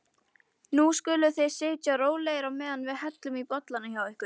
Nú skuluð þið sitja rólegir á meðan við hellum í bollana hjá ykkur.